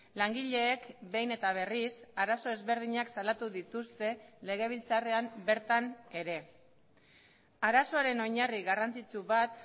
langileek behin eta berriz arazo ezberdinak salatu dituzte legebiltzarrean bertan ere arazoaren oinarri garrantzitsu bat